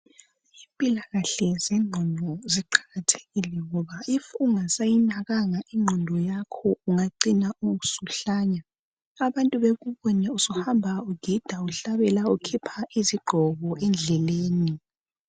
Impilakahle zengqondo ziqakathekile ngoba ma ungasayinakanga ingqondo yakho ungacina usuhlanya abantu bekubone usuhamba ugida uhlabela ukhipha izigqoko endleleni.